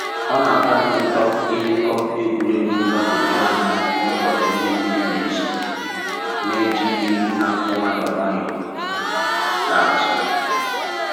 Ọ na-atọ anyị ụtọ ịmekọ egwuregwu mgbagwoju anya n'ụbọchị ndị mmiri na ezo, na-eji egwu na akụ nwayọ nwayọ na azụ